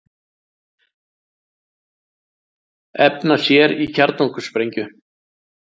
Efna sér í kjarnorkusprengju